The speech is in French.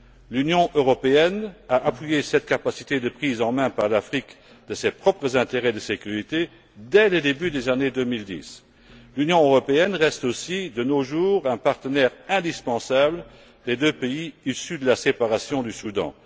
L'Union européenne a appuyé cette capacité de prise en main, par l'Afrique, de ses propres intérêts en matière de sécurité, dès le début des années 2010. L'Union européenne reste aussi, de nos jours, un partenaire indispensable des deux pays issus de la séparation du Soudan.